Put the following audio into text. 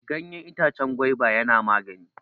Ganyen itacen gwaiba yana magani.